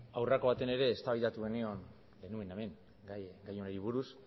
aurreko batean ere eztabaidatu genion genuen hemen gai honi buruz